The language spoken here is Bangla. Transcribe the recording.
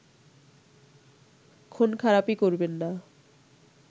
খুন-খারাপি করবেন না